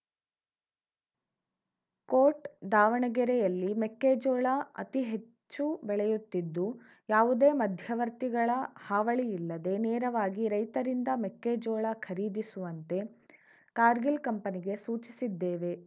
coat ದಾವಣಗೆರೆಯಲ್ಲಿ ಮೆಕ್ಕೆಜೋಳ ಅತೀ ಹೆಚ್ಚು ಬೆಳೆಯುತ್ತಿದ್ದು ಯಾವುದೇ ಮಧ್ಯವರ್ತಿಗಳ ಹಾವಳಿ ಇಲ್ಲದೇ ನೇರವಾಗಿ ರೈತರಿಂದ ಮೆಕ್ಕೆಜೋಳ ಖರೀದಿಸುವಂತೆ ಕಾರ್ಗಿಲ್‌ ಕಂಪನಿಗೆ ಸೂಚಿಸಿದ್ದೇವೆ